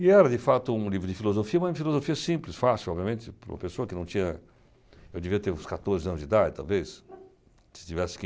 E era, de fato, um livro de filosofia, mas uma filosofia simples, fácil, obviamente, para uma pessoa que não tinha... eu devia ter uns quatorze anos de idade, talvez, se tivesse quinze.